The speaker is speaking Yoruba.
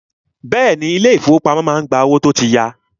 Bẹ́ẹ̀ni, ilé ìfọwọ́pamo má ń gba owó tó tí ya.